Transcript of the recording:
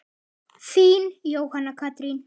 Þín, Jóhanna Katrín.